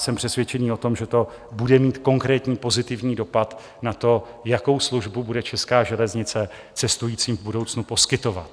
Jsem přesvědčený o tom, že to bude mít konkrétní pozitivní dopad na to, jakou službu bude česká železnice cestujícím v budoucnu poskytovat.